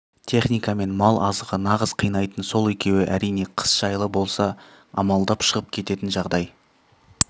техника мен мал азығы нағыз қинайтын сол екеуі әрине қыс жайлы болса амалдап шығып кететін жағдай